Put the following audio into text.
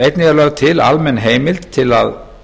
einnig er lögð til almenn heimild til að